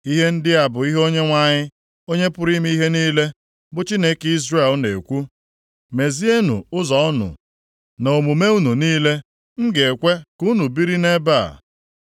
Ihe ndị a bụ ihe Onyenwe anyị, Onye pụrụ ime ihe niile, bụ Chineke Izrel na-ekwu. Mezienụ ụzọ unu na omume unu niile, m ga-ekwe ka unu biri nʼebe a.